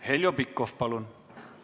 Heljo Pikhof, palun!